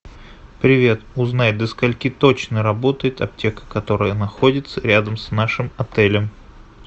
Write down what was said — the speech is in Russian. привет узнай до скольких точно работает аптека которая находится рядом с нашим отелем